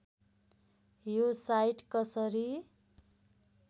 यो साईट कसरी